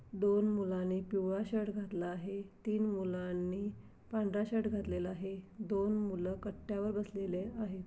दोन मुलांनी पिवळा शर्ट घातलेला आहे. तीन मुलांनी पांढरा शर्ट घातलेला आहे. दोन मुलं कट्ट्यावर बसलेले आहेत.